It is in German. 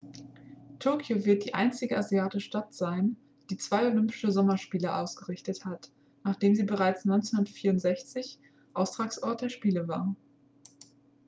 tokio wird die einzige asiatische stadt sein die zwei olympische sommerspiele ausgerichtet hat nachdem sie bereits 1964 austragungsort der spiele war